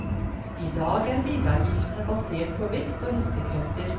I dag er bilavgiftene basert på vekt og hestekrefter.